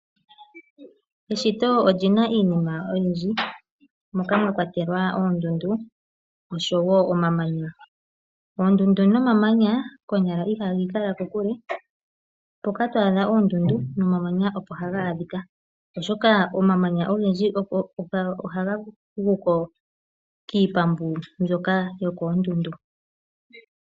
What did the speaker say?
Eshito olyina iinima oyindji moka mwa kwatelwa oondundu oshowo omamanya. Oondundu nomamanya konyala ihaga ikala kokule mpoka twa adha oondundu nomamanya opo haga adhika, oshoka omamanya ogendji ohaga guko kiipambu mbyoka yokoondundu.